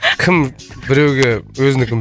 кім біреуге өзінікін